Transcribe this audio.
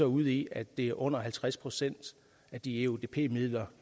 ude i at det er under halvtreds procent af de eudp midler